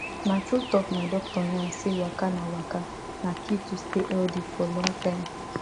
na true talk my doctor yarn say waka na waka na key to stay healthy for long time